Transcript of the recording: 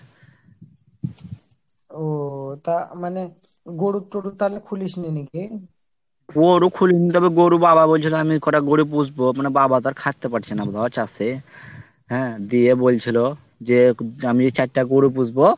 ওহ তা মানে গরুর তরুর তাহলে খুলিসনি নাকি। গরু খুলিনি তারপর গরু বাবা বলছিলো আমি কটা গরু পুষবো, মানে বাবা তো আর খাটতে পারছে না বল চাষে। হ্যাঁ দিয়ে বলছিলো, যে আমি এই চারটে গরু পুষবো।